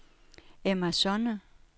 Emma Sonne